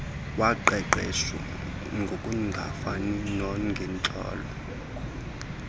woqeqesho ngokungafani nangentlalo